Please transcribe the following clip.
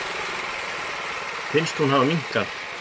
Finnst hún hafa minnkað.